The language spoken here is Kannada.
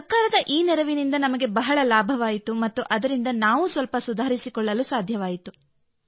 ಸರ್ಕಾರದ ಈ ನೆರವಿನಿಂದ ನಮಗೆ ಬಹಳ ಲಾಭವಾಯಿತು ಮತ್ತು ಅದರಿಂದ ನಾನೂ ಸ್ವಲ್ಪ ಸುಧಾರಿಸಿಕೊಳ್ಳಲು ಸಾಧ್ಯವಾಯಿತು